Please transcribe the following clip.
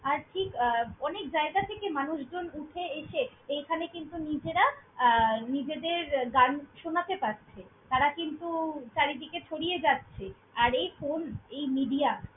আর ঠিক আহ অনেক জায়গা থেকে মানুষজন উঠে এসে এখানে কিন্তু নিজেরা নিজেদের গান শোনাতে পারছে। তারা কিন্তু চারিদিকে ছড়িয়ে যাচ্ছে আর এই phone, এই media ।